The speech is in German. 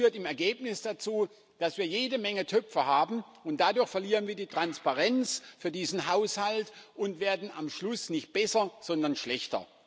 Das führt im Ergebnis dazu, dass wir jede Menge Töpfe haben, und dadurch verlieren wir die Transparenz für diesen Haushalt und werden am Schluss nicht besser, sondern schlechter.